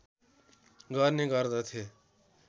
गर्ने गर्दथे